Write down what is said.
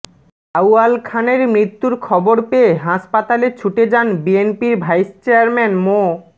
আউয়াল খানের মৃত্যুর খবর পেয়ে হাসপাতালে ছুটে যান বিএনপির ভাইস চেয়ারম্যান মো